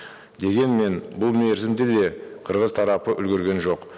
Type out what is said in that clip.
дегенмен бұл мерзімді де қырғыз тарапы үлгерген жоқ